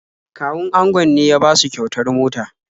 Kawun angon ne ya basu kyautar mota.